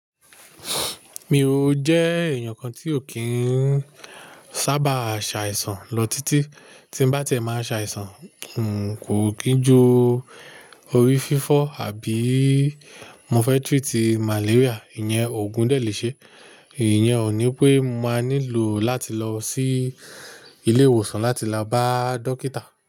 Mi o jẹ́ èèyàn kan tí o kín sábà ṣe àìsàn lọ títí. Tí n bá ti ẹ máa ṣe àìsàn, n kò kín ju orí fífọ́ àbí mọfẹ́ trítì malaria, ìyẹn ògùn dẹ le ṣe. Ìyẹn ò ní pé máa nílò láti lọ sí ilé ìwòsàn láti la bá dókítà.